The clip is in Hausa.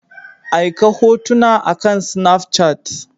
Aika hotuna akan Snafchat.